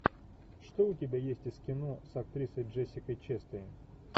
что у тебя есть из кино с актрисой джессикой честейн